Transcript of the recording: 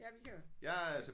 Ja vi kan jo